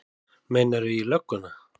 Meinarðu. í lögguna?